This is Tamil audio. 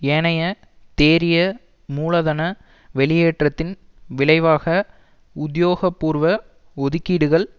ஏனைய தேறிய மூலதன வெளியேற்றத்தின் விளைவாக உத்தியோக பூர்வ ஒதுக்கீடுகள்